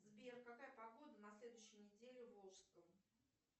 сбер какая погода на следующей недели в волжском